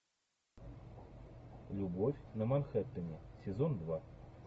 любовь на манхэттене сезон два